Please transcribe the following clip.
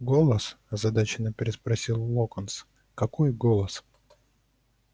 голос озадаченно переспросил локонс какой голос